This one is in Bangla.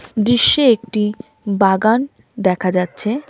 দৃশ্যে একটি বাগান দেখা যাচ্ছে .